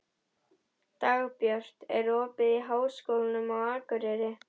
Dagbjört, er opið í Háskólanum á Akureyri?